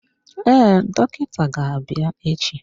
Ee, dọkịta ga-abịa echi.